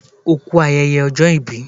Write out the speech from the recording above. O kú ayẹyẹ ọjọ́ ìbí